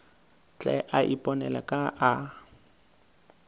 tle a iponele ka a